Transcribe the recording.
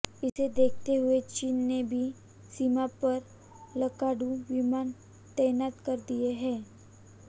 इसे देखते हुए चीन ने भी सीमा पर लड़ाकू विमान तैनात कर दिए हैं